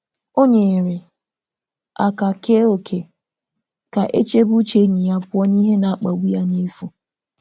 Ọ nyere aka kee ókè ka e chebe uche enyi ya pụọ n’ihe na-akpagbu ya n’efu.